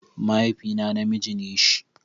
Mahaifina namiji ne shi.